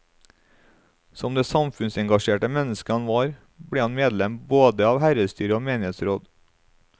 Som det samfunnsengasjerte menneske han var, ble han medlem både av herredsstyre og menighetsråd.